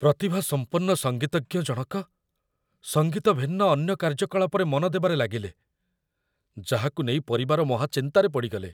ପ୍ରତିଭାସମ୍ପନ୍ନ ସଙ୍ଗୀତଜ୍ଞ ଜଣକ ସଙ୍ଗୀତ ଭିନ୍ନ ଅନ୍ୟ କାର୍ଯ୍ୟକଳାପରେ ମନ ଦେବାରେ ଲାଗିଲେ, ଯାହାକୁ ନେଇ ପରିବାର ମହାଚିନ୍ତାରେ ପଡ଼ିଗଲେ।